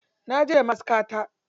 Naje da ma'askata.